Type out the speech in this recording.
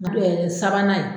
yɛrɛ ye sabanan ye.